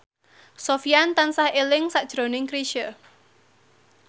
Sofyan tansah eling sakjroning Chrisye